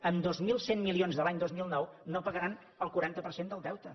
amb dos mil cent milions de l’any dos mil nou no pagaran el quaranta per cent del deute